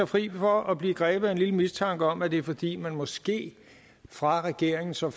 fri for at blive grebet af en lille mistanke om at det er fordi man måske fra regeringens og